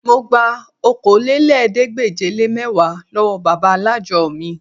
Mo gba Okòólélẹ́ẹ̀ẹ́dégbèje-le-mẹ́wàá lọ́wọ́ bàbá alájọ mi